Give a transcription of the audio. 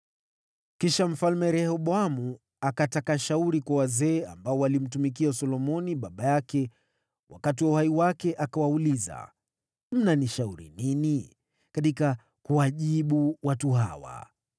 Kisha Mfalme Rehoboamu akataka shauri kwa wazee ambao walimtumikia Solomoni baba yake wakati wa uhai wake akawauliza, “Mnanishauri nini katika kuwajibu watu hawa?”